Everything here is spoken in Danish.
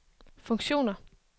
funktioner